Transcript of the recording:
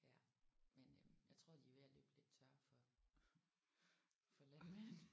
Ja men øh jeg tror de er ved at løbe lidt tør for for landmænd